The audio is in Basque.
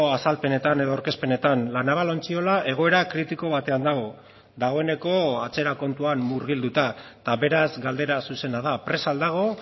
azalpenetan edo aurkezpenetan la naval ontziola egoera kritiko batean dago dagoeneko atzera kontuan murgilduta eta beraz galdera zuzena da prest al dago